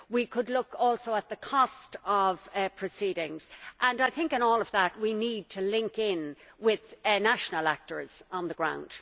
We could also look at the cost of proceedings, and I think in all of that we need to link in with national actors on the ground.